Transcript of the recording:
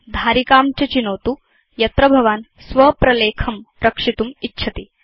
धारिकां च चिनोतु यत्र भवान् स्व प्रलेखं रक्षितुम् इच्छति